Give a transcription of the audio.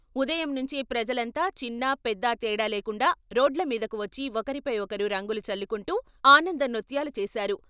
ఉదయం నుంచే ప్రజలంతా చిన్నా పెద్దా తేడా లేకుండా రోడ్ల మీదకు వచ్చి ఒకరిపై ఒకరు రంగులు చల్లుకుంటూ ఆనంద నృత్యాలు చేసారు.